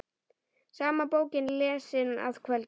Sama bókin lesin að kvöldi.